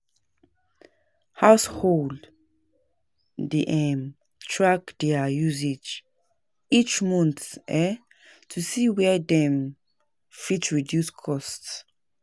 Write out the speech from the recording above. Households dey um track their usage each month um to see where dem fit reduce costs.